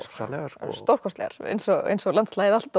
rosalegar stórkostlegar eins og eins og landslagið allt